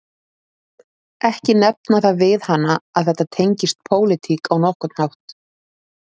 Ekki nefna það við hana að þetta tengist pólitík á nokkurn hátt